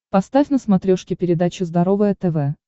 поставь на смотрешке передачу здоровое тв